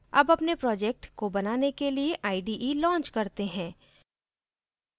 अब अपने project को बनाने के लिए ide launch करते हैं